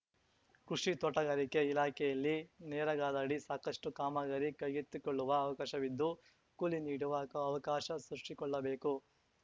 ಕೃಷಿ ತೋಟಗಾರಿಕೆ ಇಲಾಖೆಯಲ್ಲಿ ನೇರಗಾದಡಿ ಸಾಕಷ್ಟುಕಾಮಗಾರಿ ಕೈಗೆತ್ತಿಕೊಳ್ಳುವ ಅವಕಾಶವಿದ್ದು ಕೂಲಿ ನೀಡುವ ಅವಕಾಶ ಸೃಷ್ಟಿಕೊಳ್ಳಬೇಕು